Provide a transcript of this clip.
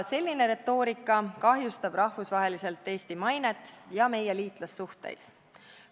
Selline retoorika kahjustab rahvusvaheliselt Eesti mainet ja meie liitlassuhteid.